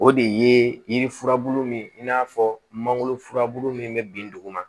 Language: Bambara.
O de ye yiri furabulu min ye in n'a fɔ mangoro furabulu min bɛ bin dugu ma